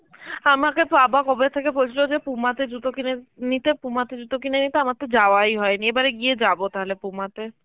আমাকে বাবা কবে থেকে বলছিল যে Puma তে জুতো কিনে নিতে Puma থেকে জুতো কিনে নিতে আমার তো যাওয়াই হয়নি এবারে গিয়ে যাব তাহলে Puma তে